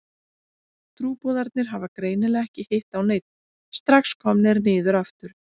Trúboðarnir hafa greinilega ekki hitt á neinn, strax komnir niður aftur.